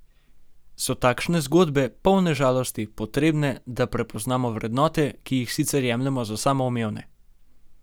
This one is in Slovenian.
So takšne zgodbe, polne žalosti, potrebne, da prepoznamo vrednote, ki jih sicer jemljemo za samoumevne?